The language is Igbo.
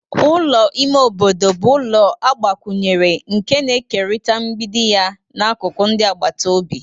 Ulọ ime obodo bu ulọ agbakunyere nke na-ekerịta mgbidi ya na akụkụ ndị agbata obi.